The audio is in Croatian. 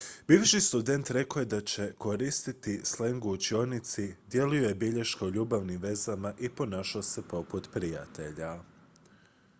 "bivši student rekao je da je "koristio sleng u učionici dijelio je bilješke o ljubavnim vezama i ponašao se poput prijatelja"".